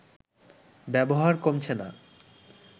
ব্যবহার কমছে না